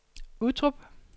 Uttrup